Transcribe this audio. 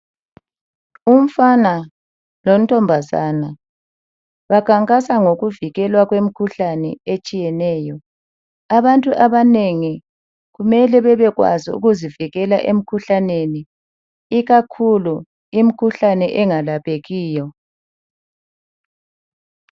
Umfana lontombazana bakhankasa ngokuvikelwa kwemkhuhlane etshiyeneyo abantu abanengi kumele bebekwazi ukuzivikela emkhuhlaneni ikakhulu imikhuhlane engelaphekiyo